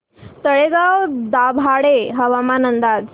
तळेगाव दाभाडे हवामान अंदाज